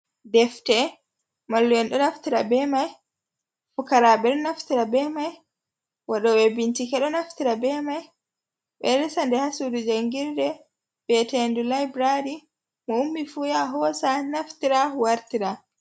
Defte mallu’en do naftira be mai, pukaraɓe ɗo naftira be mai, wa ɗo ɓe bincike ɗo naftira be mai, ɓeɗo resade ha sudu jangirde bietende laibrari, mo ummi fu ya hosa naftira wartira.